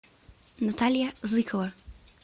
наталья зыкова